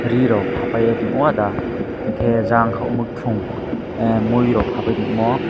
ree roak happiness wahh da enke jang pung mui kor papaidi omo.